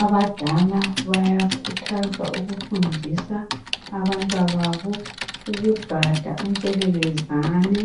Abadala bayakhuthazwa ukufundisa abantwababo ukugada u ntshelelezane